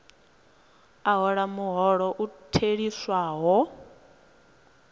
a hola muholo u theliswaho